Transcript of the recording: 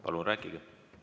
Palun rääkige!